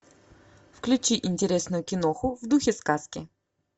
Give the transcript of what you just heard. включи интересную киноху в духе сказки